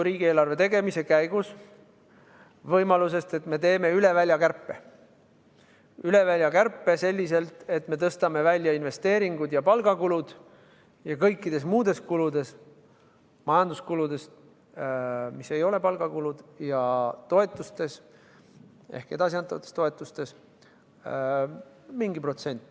Riigieelarve tegemise käigus oli ka juttu võimalusest, et me teeme üle välja kärpe selliselt, et me tõstame välja investeeringud ja palgakulud, ja kõikides muudes kuludes, näiteks majanduskuludes, mis ei ole palgakulud, ja toetustes ehk edasi antavates toetustes, mingi protsendi.